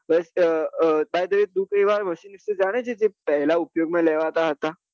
first આ તું એવા machine વિષે જાને છે જે પહેલા ઉપયોગ માં લેવાતા હતા